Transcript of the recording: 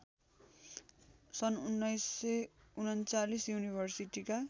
सन् १९३९ युनिभर्सिटीका